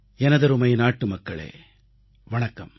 எனதருமை நாட்டு மக்களே வணக்கம்